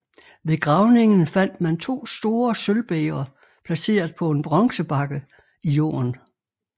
Ved gravningen fandt man to store sølvbægre placeret på en bronzebakke i jorden